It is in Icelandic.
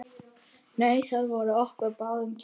Hnausar voru okkur báðum kærir.